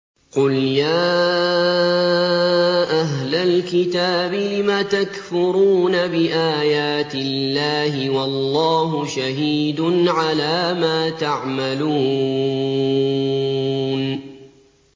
قُلْ يَا أَهْلَ الْكِتَابِ لِمَ تَكْفُرُونَ بِآيَاتِ اللَّهِ وَاللَّهُ شَهِيدٌ عَلَىٰ مَا تَعْمَلُونَ